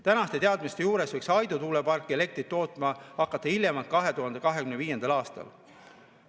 Tänaste teadmiste juures võiks Aidu tuulepark elektrit tootma hakata hiljemalt 2025. aastal.